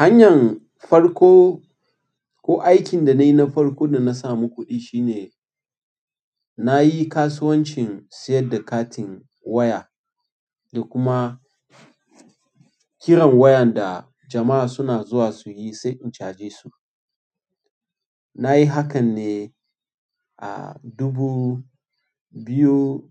Hanyan farko ko aikin da na yi na farko da na samu kuɗi shine na yi kasuwancin siyar da katin waya da kuma kiran wayan da jama'a suna zuwa su yi sai in caje su. Na yi hakan ne a dubu biyu